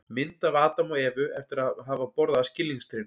mynd af adam og evu eftir að hafa borðað af skilningstrénu